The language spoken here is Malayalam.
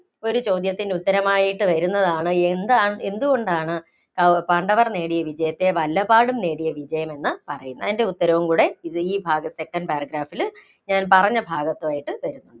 ഒരു ചോദ്യത്തിന് ഉത്തരമായിട്ട് വരുന്നതാണ്. എന്താണ്, എന്തുകൊണ്ടാണ് പാണ്ഡവര്‍ നേടിയ വിജയത്തെ വല്ലപാടും നേടിയ വിജയം എന്ന് പറയുന്നത്? അതിന്‍റെ ഉത്തരവും കൂടെ ഇത് ഈ ഭാഗത്തിന്‍റെ second paragraph ഇല് ഞാന്‍ പറഞ്ഞ ഭാഗത്തായിട്ട് വരും.